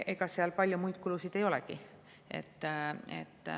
Ega seal palju muid kulusid ei olegi.